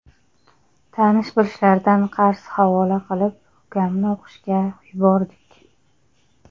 Tanish-bilishlardan qarz havola qilib, ukamni o‘qishga yubordik.